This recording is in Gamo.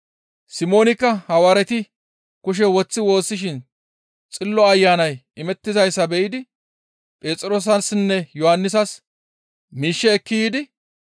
Simoonikka Hawaareti kushe woththi woossiin Xillo Ayanay imettizayssa be7idi Phexroosassinne Yohannisas miishshe ekki yiidi,